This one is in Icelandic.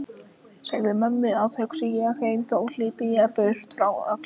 Segðu mömmu að hugsi ég heim þó hlypi ég burt öllu frá.